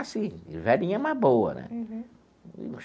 Assim, velhinha, mas boa, né? Uhum.